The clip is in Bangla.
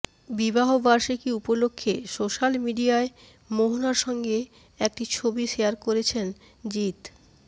বিবাহবার্ষিকী উপলক্ষ্যে সোশ্যাল মিডিয়ায় মোহনার সঙ্গে একটি ছবি শেয়ার করেছেন জিৎ